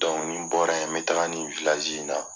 Dɔnku nin bɔra yen n bɛ taa ni wilaji antɛrɛasi in na